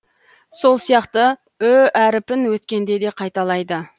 сол сияқты ү әріпін өткенде де қайталайды